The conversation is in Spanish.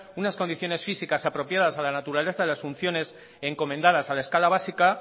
unas condiciones físicas apropiadas a la naturaleza de las funciones encomendadas a la escala básica